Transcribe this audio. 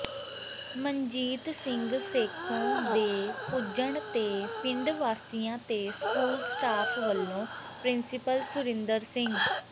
ਮਨਜੀਤ ਸਿੰਘ ਸੇਖੋਂ ਦੇ ਪੁੱਜਣ ਤੇ ਪਿੰਡ ਵਾਸੀਆਂ ਤੇ ਸਕੂਲ ਸਟਾਫ ਵਲੋਂ ਪਿ੍ੰਸੀਪਲ ਸੁਰਿੰਦਰ ਸਿੰਘ